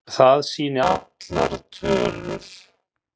Það sýni allar tölur.